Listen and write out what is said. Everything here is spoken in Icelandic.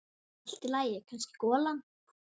Allt í lagi, kannski golan.